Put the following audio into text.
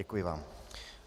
Děkuji vám.